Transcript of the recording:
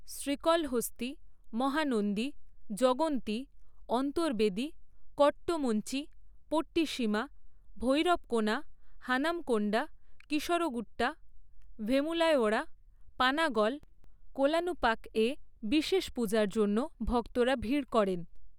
শ্রীকলহস্তি, মহানন্দী, যগন্তি, অন্তর্বেদী, কট্টমঞ্চি, পট্টিসীমা, ভৈরবকোনা, হানমকোন্ডা, কীসরগুট্টা, ভেমুলাওয়াড়া, পানাগল, কোলানুপাকে বিশেষ পূজার জন্য ভক্তরা ভিড় করেন।